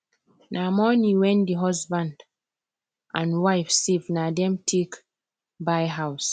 na money wen the husband and wife safe na them take buy house